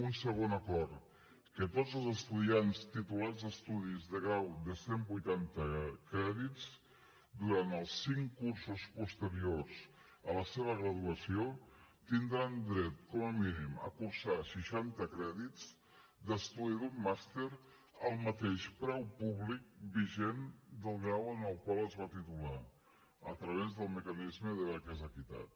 un segon acord que tots els estudiants titulats a estudis de grau de cent vuitanta crèdits durant els cinc cursos posteriors a la seva graduació tindran dret com a mínim a cursar seixanta crèdits d’estudi d’un màster al mateix preu públic vigent del grau en el qual es va titular a través del mecanisme de beques equitat